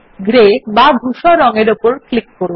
grey বা ধূসর রঙ এর উপর ক্লিক করুন